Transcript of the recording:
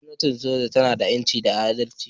Gwamnatin soja tana da 'yanci da adalci